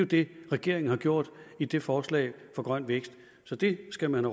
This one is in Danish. det regeringen har gjort i det forslag for grøn vækst så det skal man